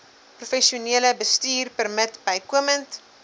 professionele bestuurpermit bykomend